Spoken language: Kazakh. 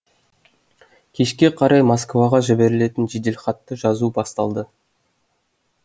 кешке қарай москваға жіберілетін жеделхатты жазу басталды